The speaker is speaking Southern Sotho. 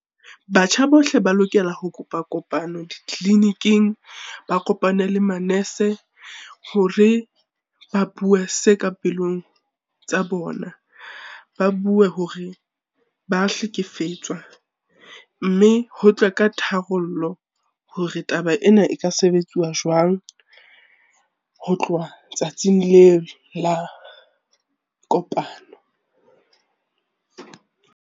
Batjha bohle ba lokela ho kopa kopano ditleliniking, ba kopane le manese hore ba bue se ka pelong tsa bona. Ba bue hore, ba hlekefetswa mme ho tlwe ka tharollo hore taba ena e ka sebetsuwa jwang ho tloha tsatsing leo la kopano.